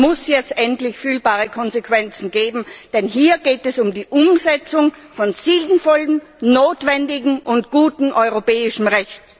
Es muss jetzt endlich fühlbare Konsequenzen geben, denn hier geht es um die Umsetzung von sinnvollem, notwendigem und gutem europäischem Recht.